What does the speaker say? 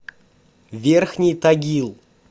верхний тагил